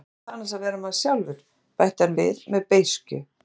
En hvað er það annars að vera maður sjálfur, bætti hann við með beiskju.